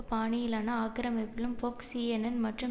பாணியிலான ஆக்கிரமிப்பிலும் Fox CNN மற்றும்